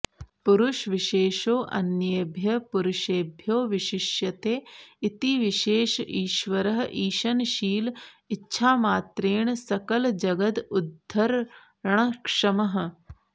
पुरुषविशेषोऽन्येभ्यः पुरुषेभ्यो विशिष्यते इति विशेष ईश्वरः ईशनशील इच्छामात्रेण सकलजगदुद्धरणक्षमः